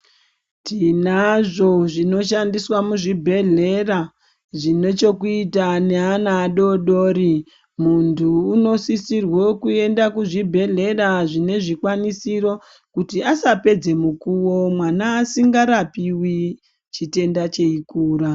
Tinazvo zvinoshandiswa muzvibhedhlera zvine chekuita neana adoodori. Muntu unosisirwe kuenda kuzvibhedhlera zvine zvikwanisiro kuti asapedze mukuwo mwana asingarapiwi, chitenda cheikura.